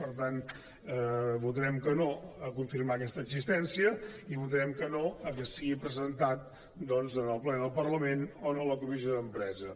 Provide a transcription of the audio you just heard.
per tant votarem que no a confirmar aquesta existència i votarem que no que sigui presentat doncs en el ple del parlament o en la comissió d’empresa